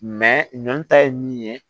ɲɔn ta ye min ye